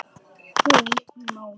Hún málaði.